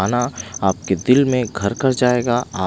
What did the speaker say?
हैं ना आपके दिल में घरकर जाएगा अ--